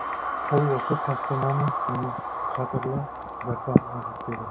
ол осы тапсырманы оның қадірлі гарпагына жүктеді